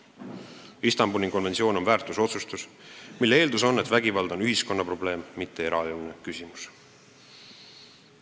Istanbuli konventsioon on väärtusotsustus, mille eeldus on, et vägivald on ühiskonna probleem, mitte eraeluline küsimus.